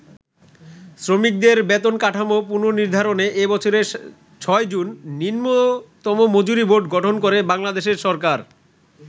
শ্রমিকদের বেতন কাঠামো পুননির্ধারণে এ বছরের ৬ জুন নিম্নতম মজুরি বোর্ড গঠন করে বাংলাদেশের সরকার।